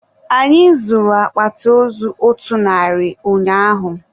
Anyị zụrụ akpati ozu otu narị ụnyaahụ.